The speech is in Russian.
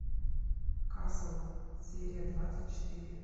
касл серия двадцать четыре